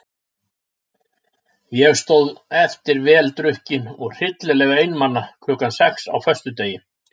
Ég stóð eftir vel drukkin og hryllilega einmana klukkan sex á föstudegi.